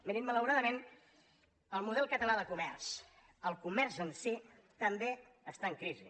mirin malauradament el model català de comerç el comerç en si també està en crisi